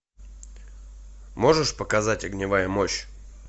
можешь показать огневая мощь